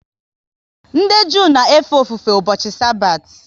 Ndị Jew na efe ofufe ụbọchị Sabathi